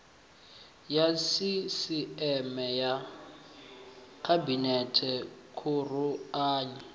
ya sisieme ya khabinete khuruanyi